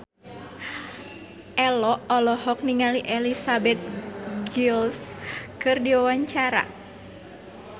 Ello olohok ningali Elizabeth Gillies keur diwawancara